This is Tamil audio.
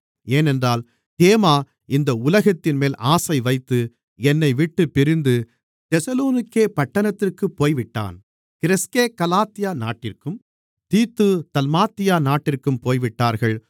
ஏனென்றால் தேமா இந்த உலகத்தின்மேல் ஆசைவைத்து என்னைவிட்டுப் பிரிந்து தெசலோனிக்கே பட்டணத்திற்குப் போய்விட்டான் கிரெஸ்கே கலாத்தியா நாட்டிற்கும் தீத்து தல்மாத்தியா நாட்டிற்கும் போய்விட்டார்கள்